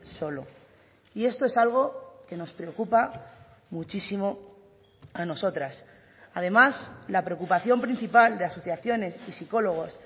solo y esto es algo que nos preocupa muchísimo a nosotras además la preocupación principal de asociaciones y psicólogos